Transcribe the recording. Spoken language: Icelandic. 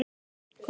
En hver er Tommi?